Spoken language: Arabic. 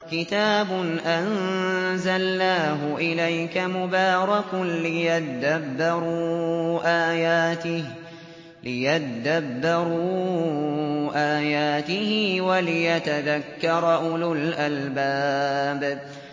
كِتَابٌ أَنزَلْنَاهُ إِلَيْكَ مُبَارَكٌ لِّيَدَّبَّرُوا آيَاتِهِ وَلِيَتَذَكَّرَ أُولُو الْأَلْبَابِ